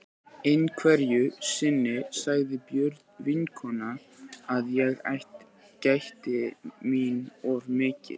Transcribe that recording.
Einhverju sinni sagði Björg vinkona að ég gætti mín of mikið.